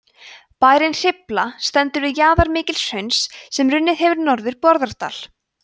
bærinn hrifla stendur við jaðar mikils hrauns sem runnið hefur norður bárðardal